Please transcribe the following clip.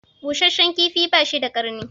Busheshshen kifi bashi da karni